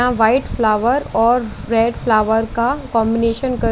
यहा white flower और red flower का कॉम्बिनेशन कर--